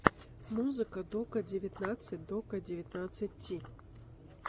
музыка дока девятнадцать дока девятнадцать ти